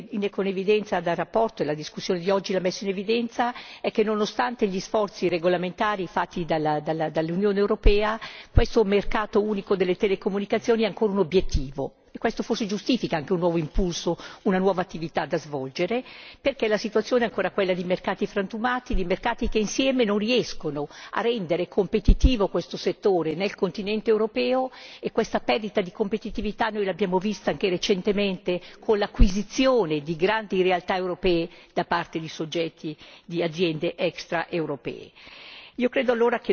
Ciò che emerge con evidenza dalla relazione e dalla discussione di oggi è che, nonostante gli sforzi regolamentari fatti dall'Unione europea, questo mercato unico delle telecomunicazioni è ancora un obiettivo, e questo forse giustifica anche un nuovo impulso, una nuova attività da svolgere, perché la situazione è ancora quella di mercati frammentati, che insieme non riescono a rendere competitivo questo settore nel continente europeo. Questa perdita di competitività l'abbiamo constatata anche recentemente con l'acquisizione di grandi realtà europee da parte di soggetti di aziende extraeuropee.